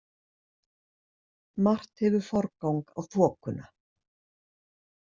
Margt hefur forgang á þokuna.